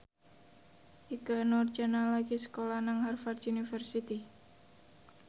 Ikke Nurjanah lagi sekolah nang Harvard university